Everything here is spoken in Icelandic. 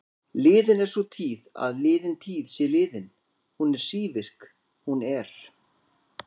Liðin er sú tíð að liðin tíð sé liðin, hún er sívirk, hún er.